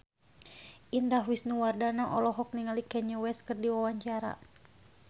Indah Wisnuwardana olohok ningali Kanye West keur diwawancara